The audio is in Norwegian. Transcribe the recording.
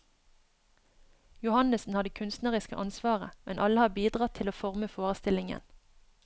Johannessen har det kunstneriske ansvaret, men alle har bidratt til å forme forestillingen.